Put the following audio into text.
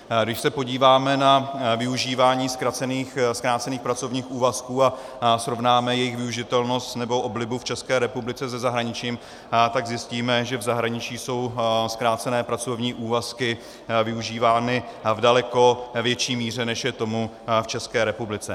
Když se podíváme na využívání zkrácených pracovních úvazků a srovnáme jejich využitelnost nebo oblibu v České republice se zahraničím, tak zjistíme, že v zahraničí jsou zkrácené pracovní úvazky využívány v daleko větší míře, než je tomu v České republice.